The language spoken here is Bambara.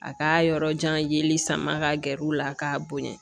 A ka yɔrɔ jan yeli sama ka gɛr'u la k'a bonya